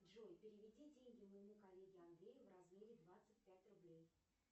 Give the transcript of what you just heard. джой переведи деньги моему коллеге андрею в размере двадцать пять рублей